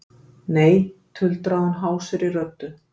Nei, tuldraði hún hásri röddu.